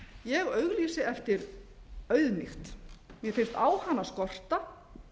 ég auglýsi eftir auðmýkt mér finnst á hana skorta